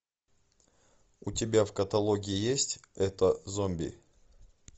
у тебя в каталоге есть это зомби